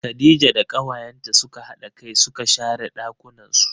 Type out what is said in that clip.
Khadija da kawayenta suka hada kai suka share ɗakunnan su.